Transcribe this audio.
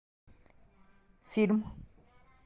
фильм